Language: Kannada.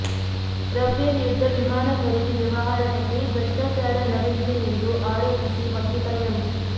ರಫೇಲ್ ಯುದ್ದ ವಿಮಾನ ಖರೀದಿ ವ್ಯವಹಾರದಲ್ಲಿ ಭ್ರಷ್ಟಾಚಾರ ನಡೆದಿದೆ ಎಂದು ಆರೋಪಿಸಿ ವಕೀಲ ಎಂ